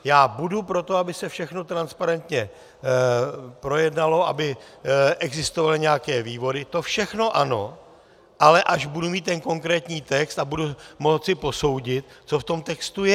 Já budu pro to, aby se všechno transparentně projednalo, aby existovaly nějaké vývody, to všechno ano, ale až budu mít ten konkrétní text a budu moci posoudit, co v tom textu je.